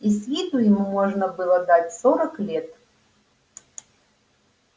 и с виду ему можно было дать сорок лет